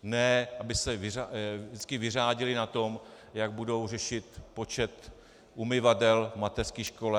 Ne aby se vždycky vyřádili na tom, jak budou řešit počet umyvadel v mateřské škole.